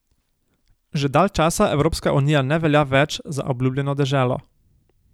Že dalj časa Evropska unija ne velja več za obljubljeno deželo.